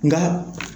Nka